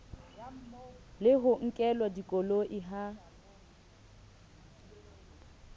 le ho nkelwa dikoloi ha